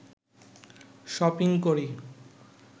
shopping করি